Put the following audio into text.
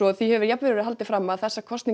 því hefur jafnvel verið haldið fram að þessar kosningar